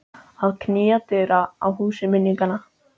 Að knýja dyra á húsi minninganna